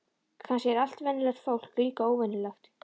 Kannski er allt venjulegt fólk líka óvenjulegt.